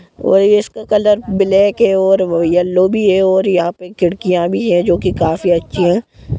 और इसका colour black है और यलो भी है और यहां पे खिड़कियां भी है जो की काफी अच्छी है।